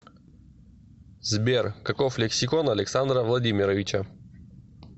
сбер каков лексикон александра владимировича